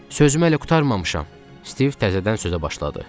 Sözüm hələ qurtarmamışam, Stiv təzədən sözə başladı.